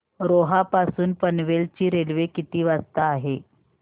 रोहा पासून पनवेल ची रेल्वे किती वाजता आहे